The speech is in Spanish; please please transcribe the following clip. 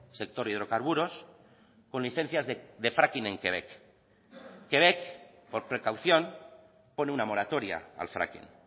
sector hidrocarburos con licencias de fracking en quebec quebec por precaución pone una moratoria al fracking